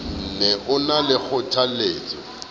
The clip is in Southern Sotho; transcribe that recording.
ne o na le kgothalletso